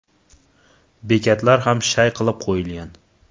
Bekatlar ham shay qilib qo‘yilgan.